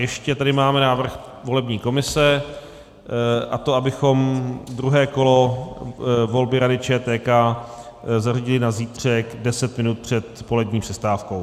Ještě tady máme návrh volební komise, a to, abychom druhé kolo volby Rady ČTK zařadili na zítřek 10 minut před polední přestávkou.